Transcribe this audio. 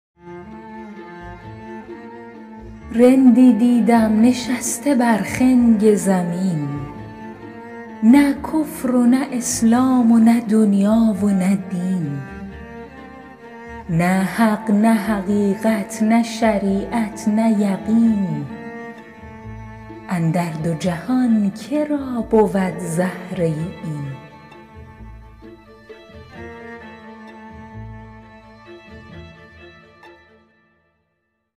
رندی دیدم نشسته بر خنگ زمین نه کفر و نه اسلام و نه دنیا و نه دین نه حق نه حقیقت نه شریعت نه یقین اندر دو جهان که را بود زهره این